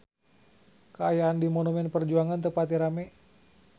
Kaayaan di Monumen Perjuangan teu pati rame